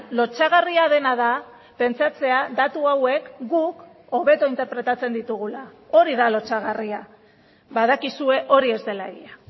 lotsagarria dena da pentsatzea datu hauek guk hobeto interpretatzen ditugula hori da lotsagarria badakizue hori ez dela egia